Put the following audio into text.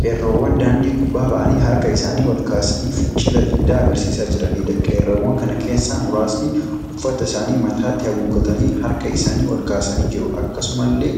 Qeerroowwan daandii gubbaa ba'anii harka isaanii wal kaasanii fincila diddaa agarsiisaa jiraniidha. Qeerroowwan kana keessaa muraasni uffata isaanii mataatti haguuggatanii harka isaanii ol kaasanii jiru. Akkasumallee